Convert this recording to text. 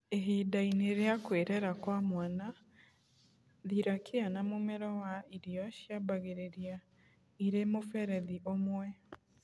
Ihinda-inĩ rĩa kwĩrera kwa mwana, thirakia na mũmero wa irio ciambagĩrĩria irĩ mũberethi ũmwe.